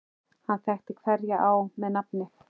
Hann þekkti hverja á með nafni.